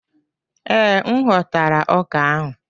Ee, m ghọtara ọka ahụ.